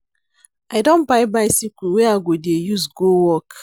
I don buy bicycle wey I go dey use go work.